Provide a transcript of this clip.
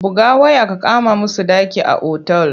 Buga waya ka kama musu ɗaki a otal!